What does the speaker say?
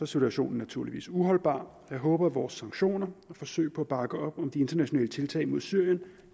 situationen naturligvis uholdbar jeg håber at vores sanktioner og forsøg på at bakke op om de internationale tiltag mod syrien